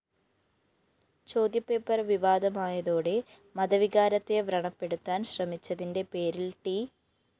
ചോദ്യപേപ്പര്‍ വിവാദമായതോടെ മതവികാരത്തെ വ്രണപ്പെടുത്താന്‍ ശ്രമിച്ചതിന്റെ പേരില്‍ ട്‌